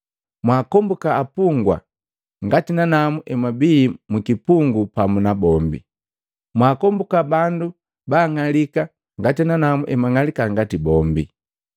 Mwakombuka apungwa ngati nanamu mmbii mu kipungu pamu na bombi. Mwaakombuka bandu ba ang'alika ngati nanamu nng'alika ngati bombi.